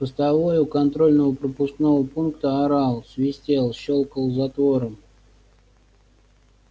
постовой у контрольно пропускного пункта орал свистел щёлкал затвором